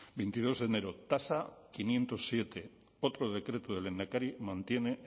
veintidos de enero tasa quinientos siete otro decreto del lehendakari mantiene